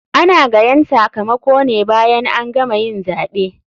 Ana gayan sakamakone bayan an gama yin zaɓe.